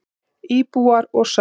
Íbúar og saga.